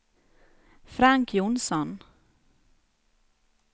Frank Jonsson